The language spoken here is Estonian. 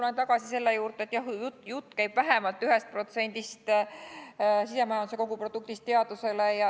Tulen tagasi selle juurde, et jutt käib vähemalt 1%-st sisemajanduse kogutoodangust teadusele.